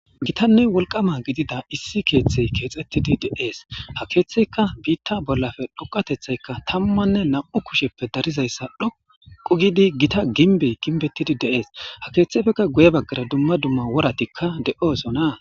Gitanne wolqama gidida issi keeththey keexettidi de7ees ha keeththeyka biitta bollafe dhoqatethayka tammanne nam7u kusheppe darizayssa dhoqu gidi gita ginbey ginbettidi deees ha keeththefeka guye baggara dumma dumma woratikka de7oosona.